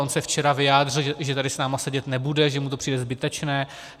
On se včera vyjádřil, že tady s námi sedět nebude, že mu to přijde zbytečné.